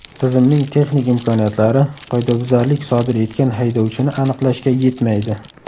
Tizimning texnik imkoniyatlari qoidabuzarlik sodir etgan haydovchini aniqlashga yetmaydi.